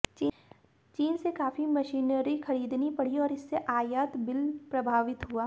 चीन से काफी मशीनरी खरीदनी पड़ी और इससे आयात बिल प्रभावित हुआ